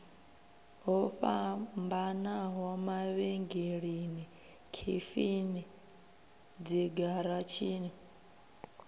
ho fhambanaho mavhengeleni khefini dzigaratshini